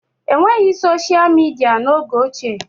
E nweghị soshịa midịa n'oge ochie